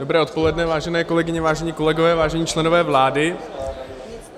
Dobré odpoledne, vážené kolegyně, vážení kolegové, vážení členové vlády.